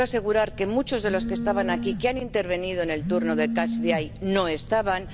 Le puedo asegurar que muchos de los que estaban aquí, que han intervenido en el turno de catch the eye no estaban.